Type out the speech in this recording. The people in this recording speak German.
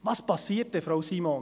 Was passiert dann, Frau Simon?